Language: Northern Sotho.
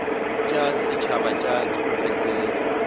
tša setšhaba tša diprofense le